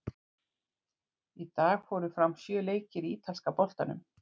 Í dag fóru fram sjö leikir í Ítalska boltanum.